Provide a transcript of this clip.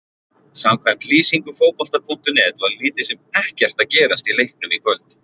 Samkvæmt lýsingu Fótbolta.net var lítið sem ekkert að gerast í leiknum í kvöld.